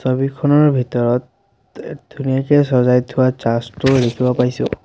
ছবিখনৰ ভিতৰত ধুনীয়াকে চজাই থোৱা চাৰ্চ টো দেখিবলৈ পাইছোঁ।